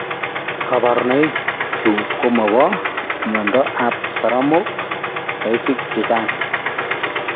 Kaborunoik chu ko mo bo myondo ab saramok saisik chechang